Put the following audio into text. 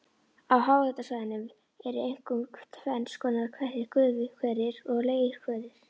Á háhitasvæðunum eru einkum tvenns konar hverir, gufuhverir og leirhverir.